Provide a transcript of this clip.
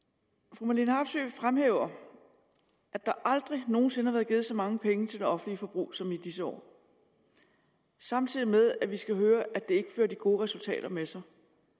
fru marlene harpsøe fremhæver at der aldrig nogen sinde er blevet givet så mange penge til det offentlige forbrug som i disse år samtidig med at vi skal høre at det fører de gode resultater med sig